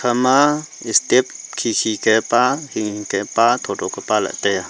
ama step khikhi kepa hinghing ke pa thotho ke pa la taiya.